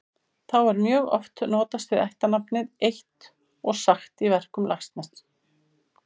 Þá er mjög oft notast við ættarnafnið eitt og sagt í verkum Laxness.